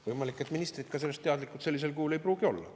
Võimalik, et ministrid sellest sellisel kujul teadlikud ei pruugi olla.